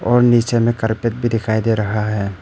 और नीचे में कारपेट भी दिखाई दे रहा है।